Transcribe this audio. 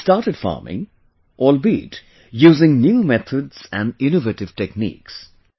He started farming, albeit using new methods and innovative techniques